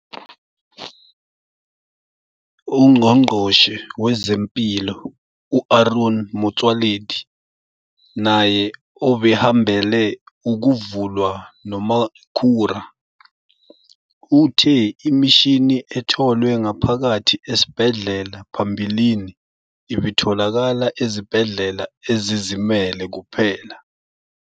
UNgqongqoshe Wezempilo u-Aaron Motsoaledi, naye obehambele ukuvulwa noMakhura, uthe imishini etholwe ngaphakathi esibhedlela phambilini ibitholakala ezibhedlela ezizimele kuphela.